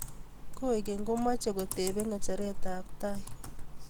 Koikeny ko machei ko tepe ngecheret ab tai